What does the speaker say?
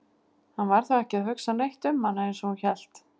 Hann var þá ekki að hugsa neitt um hana eins og hún hélt!